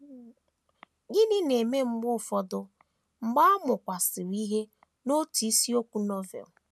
Gịnị na - eme mgbe ụfọdụ mgbe a mụkwasịrị ìhè n’otu isiokwu Novel?